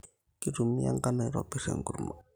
Kitumia enkano aitobir enkurma